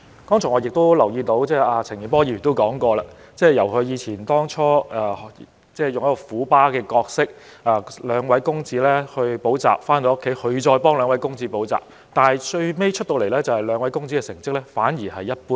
我留意到陳健波議員剛才提及，他最初以"虎爸"的模式來培育兩位公子，兩位公子補習後回家，他會再為他們補習，但最後兩位公子的成績反而一般。